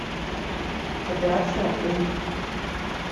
операция ы